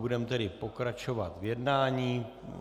Budeme tedy pokračovat v jednání.